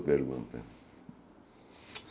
pergunta